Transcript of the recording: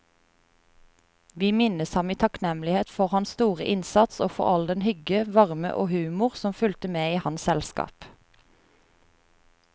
Vi minnes ham i takknemlighet for hans store innsats og for all den hygge, varme og humor som fulgte med i hans selskap.